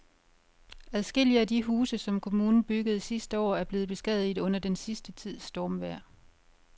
Adskillige af de huse, som kommunen byggede sidste år, er blevet beskadiget under den sidste tids stormvejr.